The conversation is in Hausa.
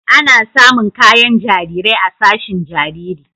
Ana samun kayan jarirai a sashin jariri.